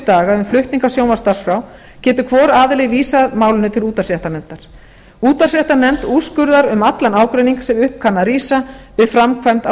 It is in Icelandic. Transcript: daga um flutning á sjónvarpsdagskrá getur hvor aðili vísað málinu til útvarpsréttarnefndar útvarpsréttarnefnd úrskurðar um allan ágreining sem upp kann að rísa við framkvæmd á